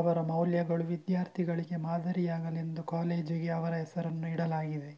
ಅವರ ಮೌಲ್ಯಗಳು ವಿದ್ಯಾರ್ಥಿಗಳಿಗೆ ಮಾದರಿಯಾಗಲೆಂದು ಕಾಲೇಜಿಗೆ ಅವರ ಹೆಸರನ್ನು ಇಡಲಾಗಿದೆ